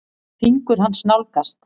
Fingur hans nálgast.